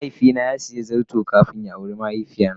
mahaifi na sa siya zarton kafin ya awre mahaifiya ta.